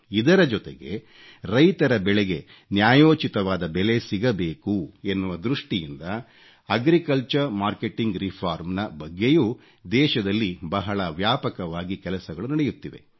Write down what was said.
ಇದರ ಜೊತೆಗೆ ರೈತರ ಬೆಳೆಗೆ ನ್ಯಾಯೋಚಿತವಾದ ಬೆಲೆ ಸಿಗಬೇಕು ಎನ್ನುವ ದೃಷ್ಟಿಯಿಂದ ಅಗ್ರಿಕಲ್ಚರ್ ಮಾರ್ಕೆಟಿಂಗ್ ರಿಫಾರ್ಮ್ ನ ಬಗ್ಗೆಯೂ ದೇಶದಲ್ಲಿ ಬಹಳ ವ್ಯಾಪಕವಾಗಿ ಕೆಲಸಗಳು ನಡೆಯುತ್ತಿವೆ